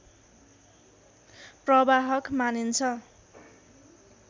प्रवाहक मानिन्छ